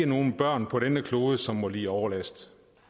nogen børn på denne klode som må lide overlast